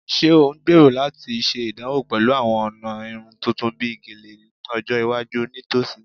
Ṣe o ngbero lati ṣe idanwo pẹlu awọn ọna irun tuntun bi Gele ni ọjọ iwaju nitosi?